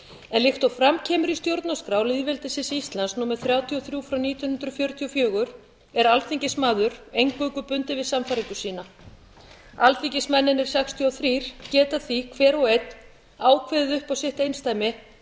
en líkt og fram kemur í stjórnarskrá lýðveldisins íslands númer þrjátíu og þrjú nítján hundruð fjörutíu og fjögur er alþingismaður eingöngu bundinn við sannfæringu sína alþingismennirnir sextíu og þrjú geta því hver og einn ákveðið upp á sitt einsdæmi